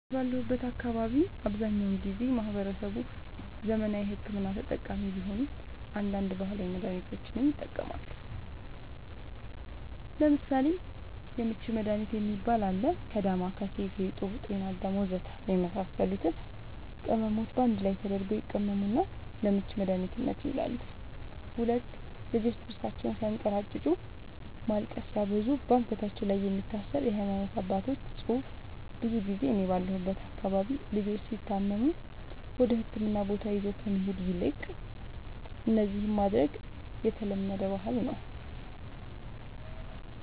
እኔ ባለሁበት አካባቢ አብዛኛውን ጊዜ ማህበረሰቡ ዘመናዊ ሕክምና ተጠቃሚ ቢሆንም አንዳንድ ባህላዊ መድሃኒቶችንም ይጠቀማሉ ለምሳሌ:- የምች መድሃኒት የሚባል አለ ከ ዳማከሲ ፌጦ ጤናአዳም ወዘተ የመሳሰሉት ቅመሞች ባንድ ላይ ተደርገው ይቀመሙና ለምች መድኃኒትነት ይውላሉ 2, ልጆች ጥርሳቸውን ስያንከራጭጩ ማልቀስ ሲያበዙ ባንገታቸው ላይ የሚታሰር የሃይማኖት አባቶች ፅሁፍ ብዙ ጊዜ እኔ ባለሁበት አካባቢ ልጆች ሲታመሙ ወደህክምና ቦታ ይዞ ከመሄድ ይልቅ እነዚህን ማድረግ የተለመደ ባህል ነዉ